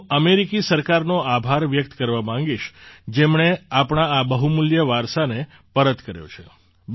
હું અમેરિકી સરકારનો આભાર વ્યક્ત કરવા માગીશ જેમણે આપણા આ બહુમૂલ્ય વારસાને પરત કર્યો છે